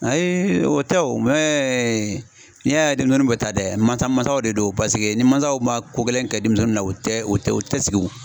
Ayi o tɛ o n'i y'a ye denmisɛnninw bɛ taa dɛ, masa masaw de don paseke ni mansaw ma ko gɛlɛn kɛ denmisɛnninw na, u tɛ o tɛ u tɛ sigi wo